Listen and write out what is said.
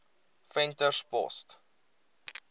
venterspost